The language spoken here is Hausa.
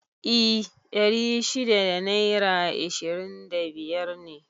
I ɗari shida da naira ishirin da biyar ne